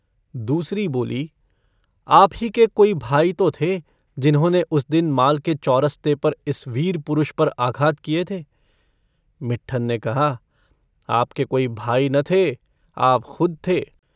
दूसरी बोली - आप ही के कोई भाई तो थे जिन्होंने उस दिन माल के चौरस्ते पर इस वीर पुरुष पर आघात किये थे। मिट्ठन ने कहा - आपके कोई भाई न थे, आप खुद थे।